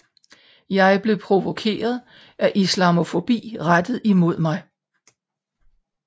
Jeg blev provokeret af islamofobi rettet imod mig